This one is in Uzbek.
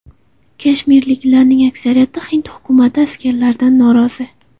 Kashmirliklarning aksariyati hind hukumati askarlaridan norozi.